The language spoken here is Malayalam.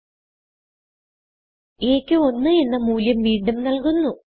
a ക്ക് 1 എന്ന മൂല്യം വീണ്ടും നല്കുന്നു